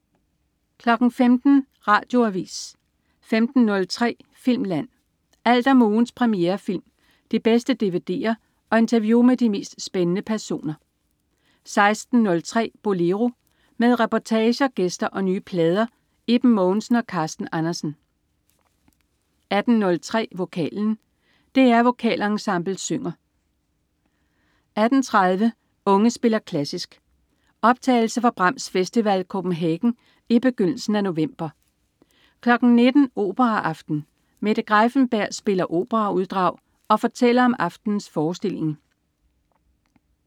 15.00 Radioavis 15.03 Filmland. Alt om ugens premierefilm, de bedste dvd'er og interview med de mest spændende personer 16.03 Bolero. Med reportager, gæster og nye plader. Iben Mogensen og Carsten Andersen 18.03 Vokalen. DR Vokalensemblet synger 18.30 Unge spiller klassisk. Optagelser fra Brahms Festival Copenhagen i begyndelsen af november 19.00 Operaaften. Mette Greiffenberg spiller operauddrag og fortæller om aftenens forestilling